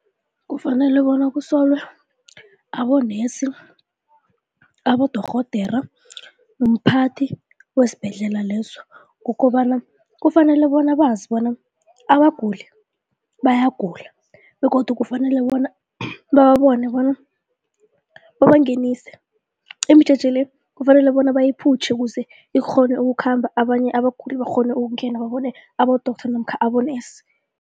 Kufanele bona kusulwe abonesi, abodorhodera, umphathi wesibhedlela leso kukobana kufanele bona bazi bona abaguli, bayagula begodu kufanele bona babone bona babangenise imijeje le, kufanele bona bayiphutjhe ukuze ikghone ukukhamba, abanye abaguli bakghone ukungena babone abo-doctor namkha abonesi.